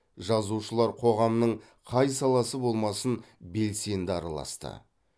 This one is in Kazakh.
жазушылар қоғамның қай саласы болмасын белсенді араласты